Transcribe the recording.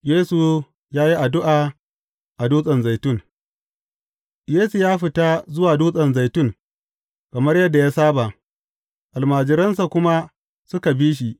Yesu ya yi addu’a a Dutsen Zaitun Yesu ya fita zuwa Dutsen Zaitun kamar yadda ya saba, almajiransa kuma suka bi shi.